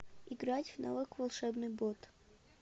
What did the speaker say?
играть в навык волшебный бот